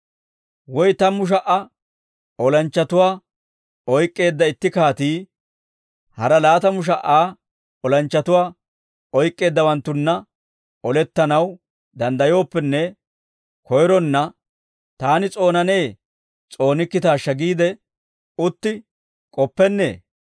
«Woy tammu sha"a olanchchatuwaa oyk'k'eedda itti kaatii, hara laatamu sha"a olanchchatuwaa oyk'k'eeddawanttunna olettanaw danddayooppenne koyronna, taani s'oonanee s'oonikkitaashsha giide utti k'oppennee?